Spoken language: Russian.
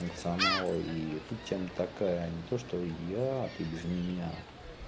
функционал и тут тема такая не то что я ты без меня